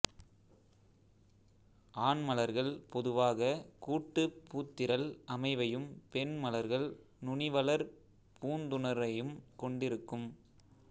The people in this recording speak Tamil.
ஆண் மலர்கள் பொதுவாக கூட்டுப் பூத்திரள் அமைவையும் பெண் மலர்கள் நுனிவளர் பூந்துணரையும் கொண்டிருக்கும்